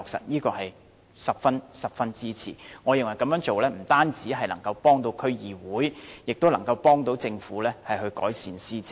我對此十分支持，我認為這樣做不單可以幫助區議會，亦能協助政府改善施政。